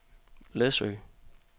Læsø